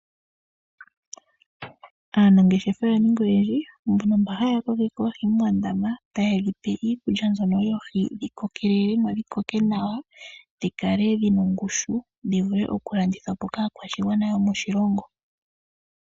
Aanangeshefa oya ninga oyendji . Uuna yakokeke oohi moondama , yotayedhi pe oohi dhikokelemo. Konima ohadhi yuulwamo dhilandithwepo kaakwashigwana yomoshilongo shontumba.